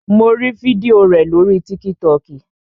Mo rí fídíò rẹ̀ lórii tíkítọkì